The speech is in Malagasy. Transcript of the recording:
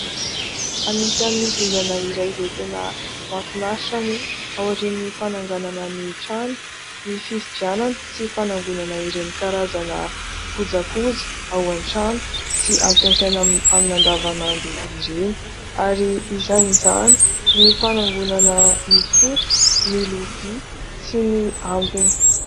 Anisany dingana iray izay tena mahafinaritra moa ao aorian' ny fananganana ny trano ny fividianana sy fanangonana ireny karazana kojakoja ao antrano sy ampisasaina amin'ny andavanandro ireny. Ary isan'izany ny fanangonana ny sotro, ny lovia ary ny ambiny.